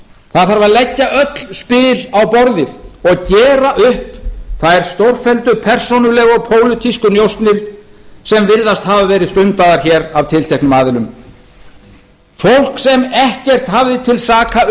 það þarf að leggja öll spil á borðið og gera upp þær stórfelldu persónulegu og pólitísku njósnir sem virðast hafa verið stundaðar hér af tilteknum aðilum fólk sem ekkert hafði til saka